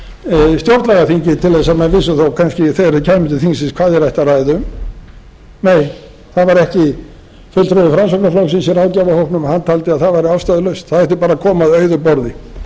fyrir stjórnlagaþingið til þess að menn vissu þó kannski þegar þeir kæmu til þingsins hvað þeir ættu að ræða um nei það var ekki fulltrúi framsóknarflokksins í ráðgjafarhópnum taldi að það væri ástæðulaust það ætti bara að koma að auðu